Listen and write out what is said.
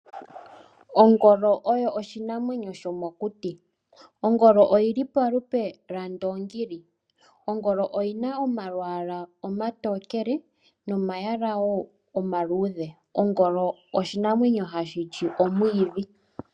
Ongolo oyo oshinamwenyo shomokuti. Ongolo oyi li opalupe lwondoongi. Oyi na omalwaala omatokele nomaluudhe. Ongolo oshinamwenyo hashi li omwiidhi.